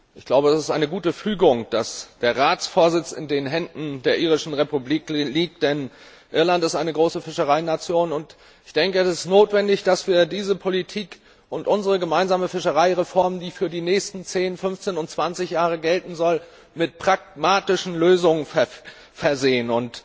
Ich glaube, es ist eine gute Fügung, dass der Ratsvorsitz in den Händen der Irischen Republik liegt, denn Irland ist eine große Fischereination, und ich denke, es ist notwendig, dass wir diese Politik und unsere gemeinsame Fischereireform, die für die nächsten zehn, fünfzehn und zwanzig Jahre gelten soll, mit pragmatischen Lösungen versehen.